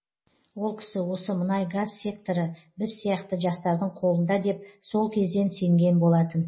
ол кісі осы мұнай газ секторы біз сияқты жастардың қолында деп сол кезден сенген болатын